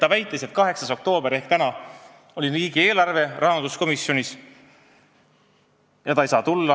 Ta väitis, et 8. oktoobril ehk täna oli rahanduskomisjonis arutelul riigieelarve ja ta ei saa tulla.